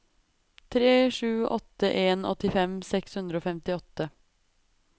tre sju åtte en åttifem seks hundre og femtiåtte